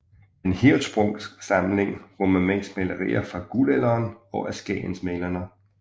Den Hirschsprungske samling rummer mest malerier fra Guldalderen og af skagensmalerne